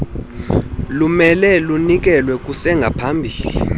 lumele lunikelwe kusengaphambili